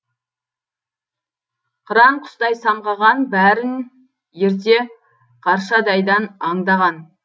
қыран құстай самғаған бәрін ерте қаршадайдан аңдаған